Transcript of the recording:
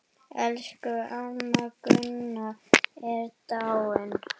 Elsku amma Gunna er dáin.